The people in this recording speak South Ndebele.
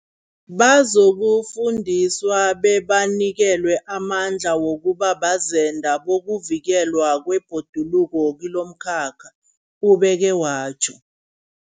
Bazokufundiswa bebanikelwe amandla wokuba bazenda bokuvikelwa kwebhoduluko kilomkhakha, ubeke watjho.